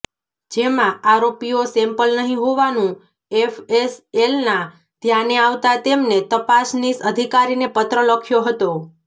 જેમાં આરોપીઓ સેમ્પલ નહીં હોવાનું એફએસએલના ધ્યાને આવતા તેમને તપાસનીશ અધિકારીને પત્ર લખ્યો હતો